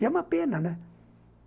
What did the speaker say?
E é uma pena, né?